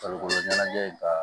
Farikolo ɲɛnajɛ ka